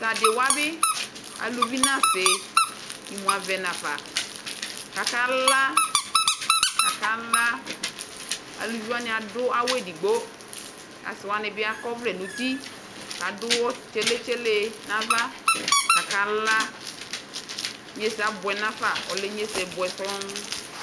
Tʋ adɩ wa bɩ, aluvi nʋ asɩ imu avɛ nafa kʋ akala, akala Aluvi wanɩ adʋ awʋ edigbo kʋ asɩ wanɩ bɩ akɔ ɔvlɛ nʋ uti kʋ adʋ ɔɣɔ tsele-tsele ɛ nʋ ava kʋ akala Inyesɛ abʋɛ nafa Ɔlɛ inyesɛ bʋɛ sɔŋ